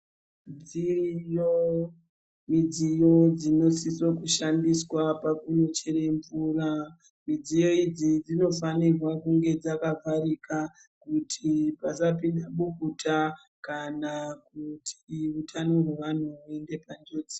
Dziriyo midziyo dzinosiso kushandiswa pakunochere mvura. Midziyo idzi dzinofanirwa kunge dzakavharika kuti pasapinda bukuta kana kuti utano hwevanhu huinde panjodzi.